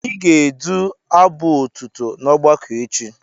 Ị ga-edu abụ otuto n'ọgbakọ echi.